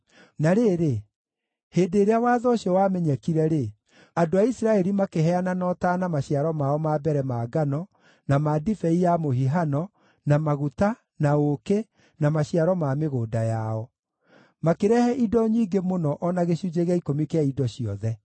Na rĩrĩ, hĩndĩ ĩrĩa watho ũcio wamenyekire-rĩ, andũ a Isiraeli makĩheana na ũtaana maciaro mao ma mbere ma ngano, na ma ndibei ya mũhihano, na maguta, na ũũkĩ, na maciaro ma mĩgũnda yao. Makĩrehe indo nyingĩ mũno o na gĩcunjĩ gĩa ikũmi kĩa indo ciothe.